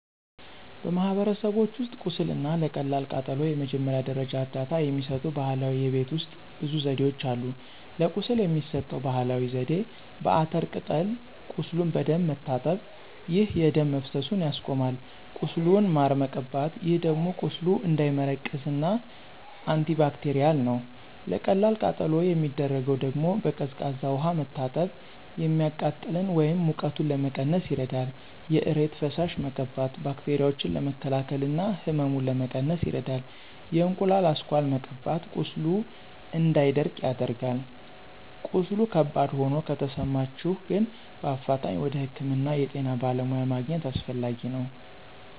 በማህበረሰቦች ውስጥ ቁስል እና ለቀላል ቃጠሎ የመጀመሪያ ደረጃ እርዳታ የሚሰጡ ባህላዊ የቤት ውሰጥ ብዙ ዘዴዎች አሉ። ለቁስል የሚሰጠው ባህላዊ ዜዴ፦ በአተር ቅጠል ቁሱሉን በደንብ መታጠብ፣ ይህ የደም መፈሰሱን ያስቆማል። ቁስሉን ማር መቀባት ይህ ደግሞ ቁስሉ እንዳይመረቅዝ እና አንቲባክቴርል ነው። ለቀላል ቃጠሎ የሚደረገው ደግሞ፦ በቀዝቃዛ ውሃ መታጠብ፤ የሚቃጥለን ወይም ሙቀቱን ለመቀነስ ይረዳል። በእሬት ፈሳሽ መቀባት ባክቴራዎችን ለመከላከል እና ህመሙን ለመቀነስ ይረዳል። የእንቁላሉ አስኳል መቀባት ቁስሉ እንዳይደርቅ ያደርጋል። ቀስሉ ከባድ ሆኖ ከተሰማቸሁ ግን በአፋጣኝ ወደ ህክምና የጤና በለሙያ ማግኝት አሰፈላጊ ነው።